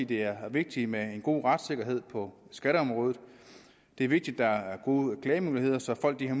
det er vigtigt med en god retssikkerhed på skatteområdet det er vigtigt der er gode klagemuligheder så folk har